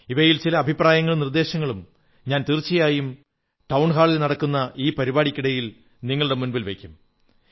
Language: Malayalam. ഇവയിൽ ചില അഭിപ്രായങ്ങളും നിർദ്ദേശങ്ങളും ഞാൻ തീർച്ചയായും ടൌൺ ഹാളിൽ നടക്കുന്ന ഈ പരിപാടിക്കിടയിൽ നിങ്ങളുടെ മുന്നിൽ വയ്ക്കും